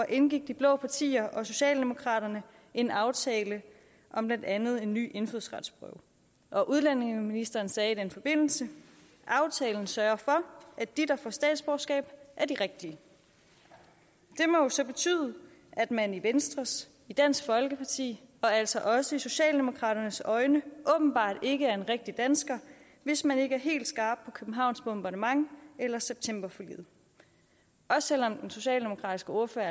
indgik de blå partier og socialdemokraterne en aftale om blandt andet en ny indfødsretsprøve og udlændingeministeren sagde i den forbindelse aftalen sørger for at de der får statsborgerskab er de rigtige det må så betyde at man i venstres i dansk folkepartis og altså også i socialdemokraternes øjne åbenbart ikke er en rigtig dansker hvis man ikke er helt skarp på københavns bombardement eller septemberforliget også selv om den socialdemokratiske ordfører